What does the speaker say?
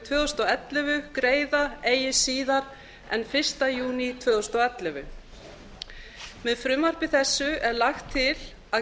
tvö þúsund og ellefu greiða eigi síðar en fyrsta júní tvö þúsund og ellefu með frumvarpi þessu er lagt til að